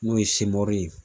N'o ye ye.